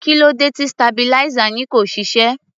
Kí ló dé tí stabilizer yìí kò ṣiṣẹ́?